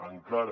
encara